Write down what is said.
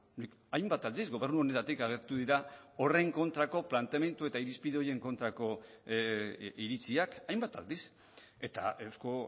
nik hainbat aldiz gobernu honetatik agertu dira horren kontrako planteamendu eta irizpide horien kontrako iritziak hainbat aldiz eta euzko